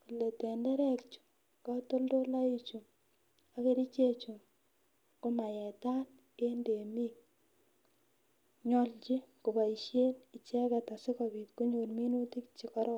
kole tenderek chu, katotoloik chu ak kerichek chu komaetaat en temiik, nyolchin koboishen icheget asigobiit konyoor minutik chekororon.